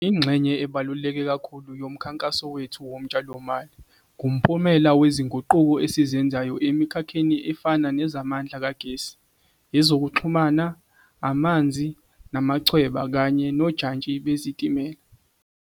Ingxenye ebaluleke kakhulu yomkhankaso wethu wotshalomali ngumphumela wezinguquko esizenzayo emikhakheni efana nezamandla kagesi, ezokuxhumana, amanzi namachweba kanye nojantshi bezitimela.